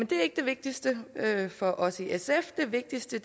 det er ikke det vigtigste for os i sf det vigtigste